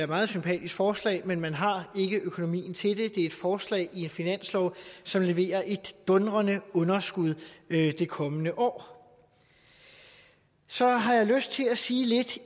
meget sympatisk forslag men man har ikke økonomien til det det er et forslag i en finanslov som leverer et dundrende underskud i det kommende år så har jeg lyst til at sige lidt